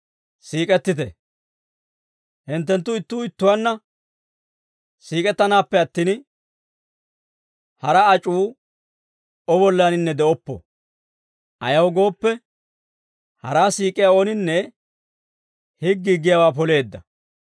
Hinttenttu ittuu ittuwaanna siik'ettanaappe attin, hara ac'uu O bollaninne de'oppo. Ayaw gooppe, haraa siik'iyaa ooninne higgii giyaawaa poleedda.